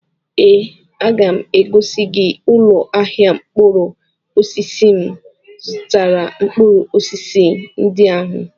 Ee, aga m egosi gị ụlọ ahịa mkpụrụ osisi m zụtara mkpụrụ osisi ndị ahụ.